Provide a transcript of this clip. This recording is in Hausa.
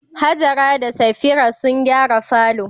Hajara da Safira sun gyara falo.